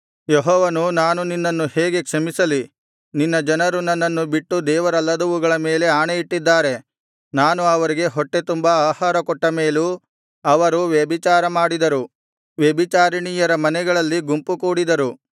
ಯೆಹೋವನು ನಾನು ನಿನ್ನನ್ನು ಹೇಗೆ ಕ್ಷಮಿಸಲಿ ನಿನ್ನ ಜನರು ನನ್ನನ್ನು ಬಿಟ್ಟು ದೇವರಲ್ಲದವುಗಳ ಮೇಲೆ ಆಣೆಯಿಟ್ಟಿದ್ದಾರೆ ನಾನು ಅವರಿಗೆ ಹೊಟ್ಟೆ ತುಂಬಾ ಆಹಾರಕೊಟ್ಟ ಮೇಲೂ ಅವರು ವ್ಯಭಿಚಾರ ಮಾಡಿದರು ವ್ಯಭಿಚಾರಿಣಿಯರ ಮನೆಗಳಲ್ಲಿ ಗುಂಪುಕೂಡಿದರು